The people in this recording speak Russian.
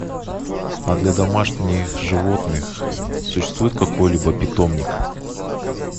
а для домашних животных существует какой либо питомник